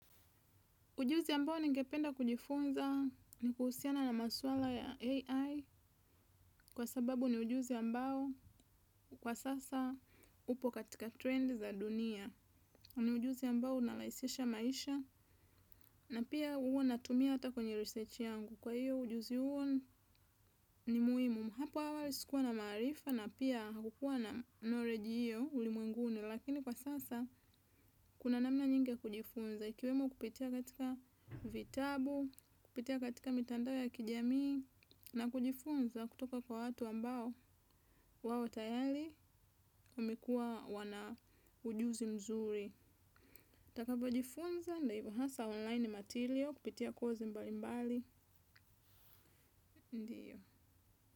Ujuzi ambao ningependa kujifunza ni kuhusiana na maswala ya AI kwa sababu ni ujuzi ambao kwa sasa upo katika trend za dunia. Ni ujuzi ambao unarahisisha maisha na pia huwa natumia hata kwenye research yangu. Kwa hiyo ujuzi huo ni muhimu. Hapo awali sikuwa na maarifa na pia hakukuwa na knowledge hiyo ulimwenguni. Lakini kwa sasa kuna namna nyingi ya kujifunza. Ikiwemo kupitia katika vitabu, kupitia katika mitandao ya kijamii. Na kujifunza kutoka kwa watu ambao wawe tayari wamekuwa wana ujuzi mzuri nitakapo jifunza ni hasa online material kupitia kozi mbali mbali, ndio.